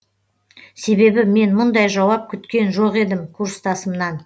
себебі мен мұндай жауап күткен жоқ едім курстасымнан